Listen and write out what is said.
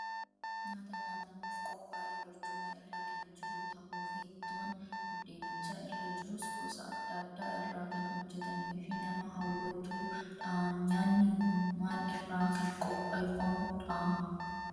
Nyaata nyaatamuuf qophaa'ee barcuma irra kan jiru tahuu fi ittoon buddeenicha irra jirus gosa addaa addaa irraa kan hojjetamee fi nama hawwatuu dha. Nyaanni kun maal irraa kan qopheeffamuu dha?